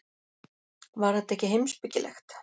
Var þetta ekki heimspekilegt?